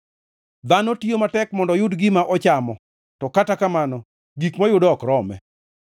Dhano tiyo matek mondo oyud gima ochamo, to kata kamano gik moyudo ok rome.